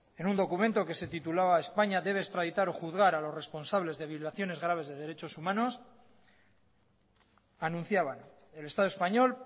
en un documento que se titulaba españa debe extraditar o juzgar a los responsables de violaciones graves de derechos humanos anunciaban el estado español